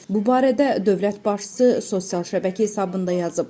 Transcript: Bu barədə dövlət başçısı sosial şəbəkə hesabında yazıb.